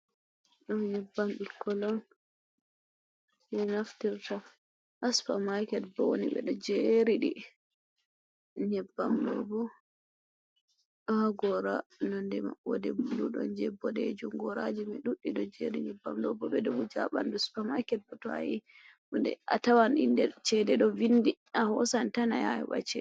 Ɗum nyebbam ɓikkon on ɗum naftirta, ha super market ɗo ni ɓedo jeriɗi nyebbam ɗobo do ha gora nonde ma ɓode blue don je boɗejum, goraji mai ɗuɗɗi ɗo jeri nyebbam ɗobo ɓedo wuja ha bandu, super market bo toa yahi a tawan inde do vindi a hosan tan ayaha ayoba chede.